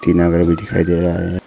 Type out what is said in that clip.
घर भी दिखाई दे रहा है।